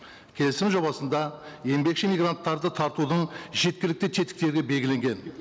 келісім жобасында еңбекші мигранттарды тартудың жеткілікті тетіктері белгіленген